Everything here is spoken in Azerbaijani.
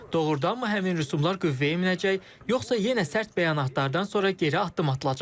Doğrudanmı həmin rüsumlar qüvvəyə minəcək, yoxsa yenə sərt bəyanatlardan sonra geri addım atılacaq?